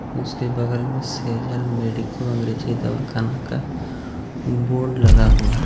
उसके बगल में सेजल मेडिको अंग्रेजी दवाखाना का बोर्ड लगा हुआ हैं.